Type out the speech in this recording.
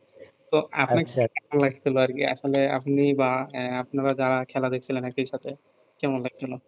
তো আপনি বা আপনারা যারা খেলা দেখছিলেন একি সাথে কেমন লাগছিল?